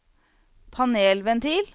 panelventil